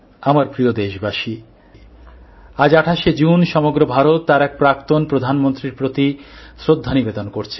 আমার প্রিয় দেশবাসী আজ ২৮ শে জুন সমগ্র ভারত তার এক প্রাক্তন প্রধানমন্ত্রীর প্রতি শ্রদ্ধা নিবেদন করছে